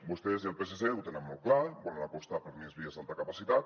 vostès i el psc ho tenen molt clar volen apostar per més vies d’alta capacitat